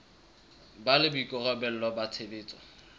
ba le boikarabelo ba tshebetso